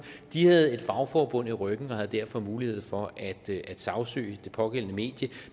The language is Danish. de havde et fagforbund i ryggen og havde derfor mulighed for at sagsøge det pågældende medie